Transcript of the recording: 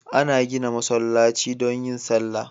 Ana gida masallaci don yin sallah